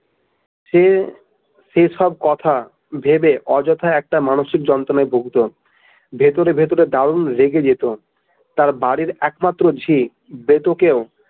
সে সেসব কথা ভাবে অযথা একটা মানসিক যন্ত্রণায় ভুগত ভেতরে ভেতরে দারুণ রেগে যেত তার বাড়ির একমাত্র ঝি ।